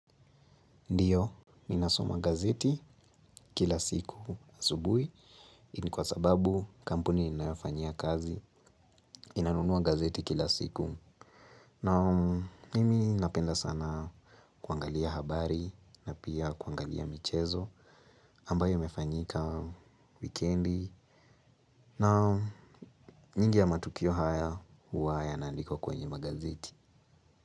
Ndiyo, minasoma gazeti kila siku asubui ni kwa sababu kampuni ninayofanyia kazi inanunuwa gazeti kila siku. Na mimi napenda sana kuangalia habari na pia kuangalia michezo ambayo imefanyika wikendi. Naam, nyingi ya matukio haya huwa yanaandikwa kwenye magazeti.